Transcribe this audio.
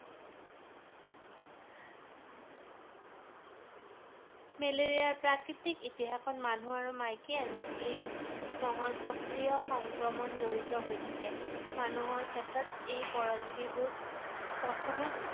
মেলেৰিয়াৰ প্ৰাকৃতিক ইতিহাসত, মানুহ আৰু মাইকী anopheles মহৰ সক্ৰিয় সংক্ৰমণ জড়িত হৈ থাকে ৷ মানুহৰ ক্ষেত্ৰত পৰজীৱীবোৰ প্ৰথমে,